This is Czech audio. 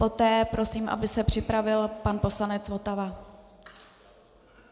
Poté prosím, aby se připravil pan poslanec Votava.